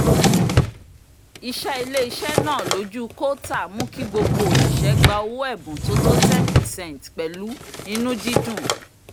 ìṣe ilé-iṣẹ́ náà lójú kóòtà mú kí gbogbo òṣìṣẹ́ gba owó ẹ̀bùn tó tó 10 percent pẹ̀lú inú-dídùn